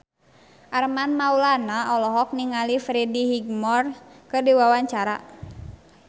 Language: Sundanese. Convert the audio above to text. Armand Maulana olohok ningali Freddie Highmore keur diwawancara